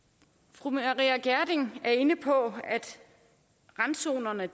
fru maria reumert gjerding er inde på at randzonerne